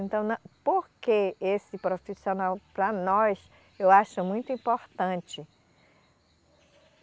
Então na, por que esse profissional, para nós, eu acho muito importante?